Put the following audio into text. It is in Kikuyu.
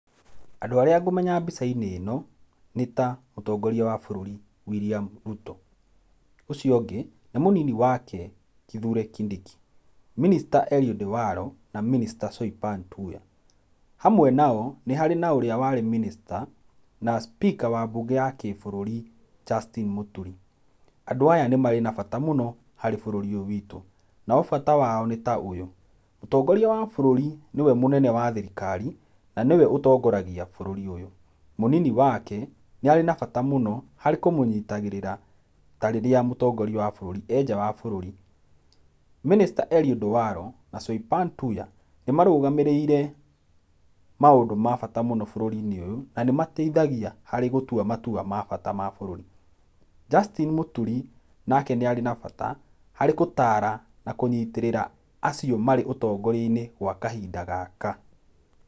Andũ arĩa ngũmenya mbica-inĩ ĩno, nĩ ta mũtongoria wa bũrũri William Ruto. Ũcio ũngĩ nĩ mũnini wake Kithure Kindiki, minister Eliud Waro, na minister, Swinpan Tuya. Hamwe nao nĩ harĩ na ũrĩa warĩ minister na speaker wa mbunge ya kĩbũrũri Justin Muturi. Andũ aya nĩ marĩ na bata mũno harĩ bũrũri ũyũ witũ. Nao bata wao nĩ ta ũyũ, mũtongoria wa bũrũri nĩ we mũnene wa thirikari na nĩwe ũtongoragia bũrũri ũyũ, mũnini wake nĩ arĩ na bata mũno harĩ kũmũnyitagirĩra ta rĩrĩa mũtongoria wa bũrũri e nja wa bũruri. Minister Eliod Waro mena Swainpan Tuya nĩ marũgamĩrĩire maũndũ ma bata mũno bũrũri-inĩ ũyũ na nĩ mateithagia gũtua matua ma bata ma bũrũri. Justin Mũturi nake nĩ arĩ na bata harĩ gũtara na kũnyitĩrĩra acio marĩ ũtongoria-inĩ gwa kahinda gaka.